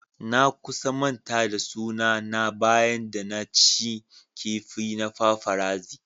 Na kusan manta da suna na bayan da na cin kifi na paparazzi.